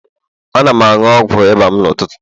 Ana m aṅụ ọgwụ ịba m n'ụtụtụ.